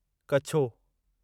कछो